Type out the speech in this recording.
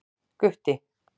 Gutti